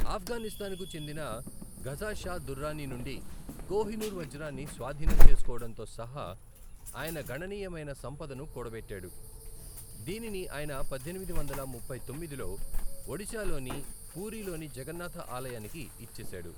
ఆఫ్ఘనిస్తాన్‌కు చెందిన షుజా షా దుర్రానీ నుండి కోహినూర్ వజ్రాన్ని స్వాధీనం చేసుకోవడంతో సహా ఆయన గణనీయమైన సంపదను కూడబెట్టాడు, దీనిని ఆయన పద్దెనిమిది వందల ముప్పై తొమ్మిదిలో ఒడిశాలోని పూరీలోని జగన్నాథ ఆలయానికి ఇచ్చేశాడు.